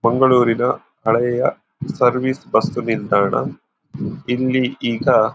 ಮಂಗಳೂರಿನ ಹಳೆಯ service bus ನಿಲ್ದಾಣ ಇಲ್ಲಿ ಈಗ--